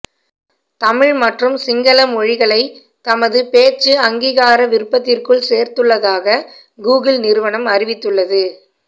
தமிழ் மற்றும் சிங்கள மொழிகளை தமது பேச்சு அங்கீகார விருப்பத்திற்குள் சேர்த்துள்ளதாக கூகிள் நிறுவனம் அறிவித்துள்ளது